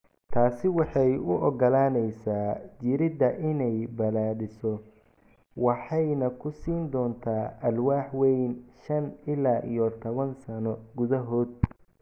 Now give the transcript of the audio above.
Taasi waxay u oggolaanaysaa jirridda inay balaadhiso waxayna ku siin doontaa alwaax weyn shan ila iyo tawan sano gudahood.